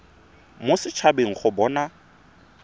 mo set habeng go bona